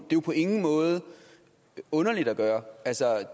jo på ingen måde underligt at gøre